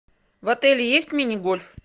в отеле есть мини гольф